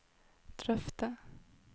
drøfte